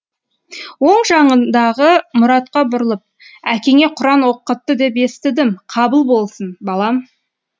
оң жағындағы мұратқа бұрылып әкеңе құран оқытты деп естідім қабыл болсын балам